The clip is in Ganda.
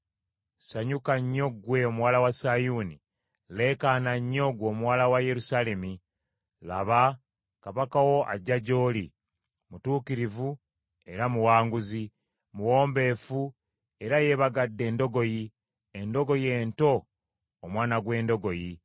Sanyuka nnyo ggwe omuwala wa Sayuuni: leekaana nnyo, ggwe omuwala wa Yerusaalemi; laba, kabaka wo ajja gy’oli; mutuukirivu era muwanguzi; muwombeefu era yeebagadde endogoyi, endogoyi ento, omwana gw’endogoyi.